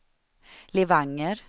Levanger